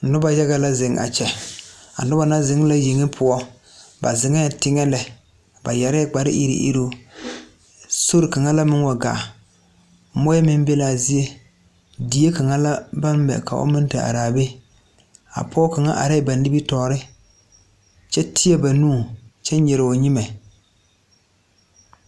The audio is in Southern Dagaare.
Nobɔ yaga ka zeŋ a kyɛ a nobɔ na zeŋ la yeŋe poɔ ba zeŋɛɛ teŋɛ lɛ ba yɛrɛɛ kpare iri iriŋ sore kaŋa la meŋ wa gaa moɔɛ meŋ be kaa zie die kaŋa la baŋ mɛ ka o meŋ te araa be a pɔge kaŋa arɛɛ ba nimitoore kyɛ teɛ ba nu kyɛ nyire o nyimɛ.